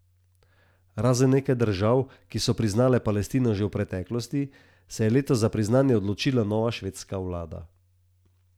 Razen nekaj držav, ki so priznale Palestino že v preteklosti, se je letos za priznanje odločila nova švedska vlada.